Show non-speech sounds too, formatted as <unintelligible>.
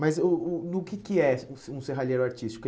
Mas o o no que que é <unintelligible> um se um serralheiro artístico?